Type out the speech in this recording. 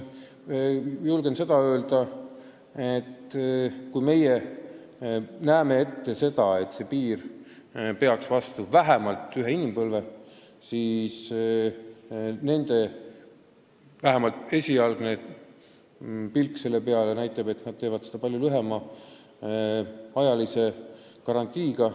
Julgen öelda, et kui meie eesmärk on, et piir peaks vastu vähemalt ühe inimpõlve, siis vähemalt esialgne pilk nende rajatisele ütleb, et nad teevad seda palju lühemaajalise garantiiga.